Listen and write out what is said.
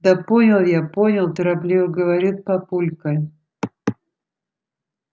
да понял я понял торопливо говорит папулька